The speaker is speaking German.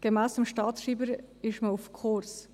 Gemäss dem Staatsschreiber ist man auf Kurs.